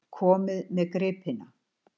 Komið með gripina!